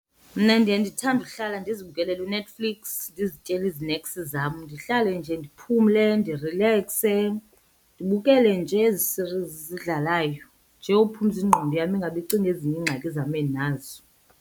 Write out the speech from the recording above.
Mna ndiye ndithande uhlala ndizibukelele uNetflix ndizityele izineks zam. Ndihlale nje ndiphumle ndirilekse ndibukele nje ezi-series zidlalayo nje uphumza ingqondo yam ingabe icinga ezinye iingxaki zam endinazo.